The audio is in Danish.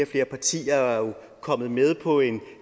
flere partier er jo kommet med på et